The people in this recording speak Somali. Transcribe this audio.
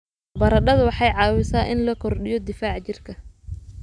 Baradhadu waxay caawisaa in la kordhiyo difaaca jirka.